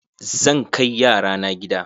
Zan kai yara na gida.